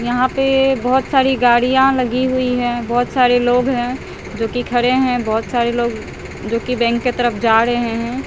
यहां पे बहोत सारी गाड़ियां लगी हुई है बहोत सारे लोग हैं जोकी खरे हैं बहुत सारे लोग जोकी बैंक के तरफ जा रहे हैं।